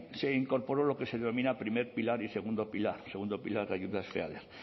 se incorporó lo que se denomina primer pilar y segundo pilar de ayudas feader